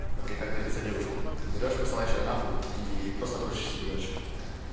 смотри как добиться девушку берёшь посылаешь её нахуй и просто дрочишь себе дальше